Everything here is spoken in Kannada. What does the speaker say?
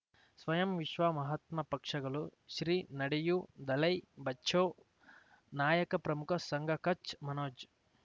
ಸ್ವಯಂ ವಿಶ್ವ ಮಹಾತ್ಮ ಪಕ್ಷಗಳು ಶ್ರೀ ನಡೆಯೂ ದಲೈ ಬಚೌ ನಾಯಕ ಪ್ರಮುಖ ಸಂಘ ಕಚ್ ಮನೋಜ್